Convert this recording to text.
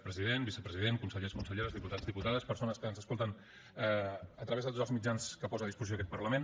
president vicepresident consellers conselleres diputats diputades persones que ens escolten a través de tots els mitjans que posa a disposició aquest parlament